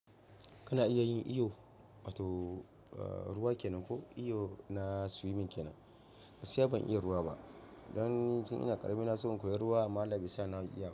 Kana iya yin iyo, wato, ruwa kenan ko iyo na swimming kenan? Gaskiya ban iya ruwa ba. Da can ina karami na so in koya ruwa, amma Allah baisa na iya.